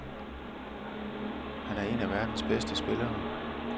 Han er en af verdens bedste spillere.